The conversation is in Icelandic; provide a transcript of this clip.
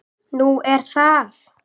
Nú, er það?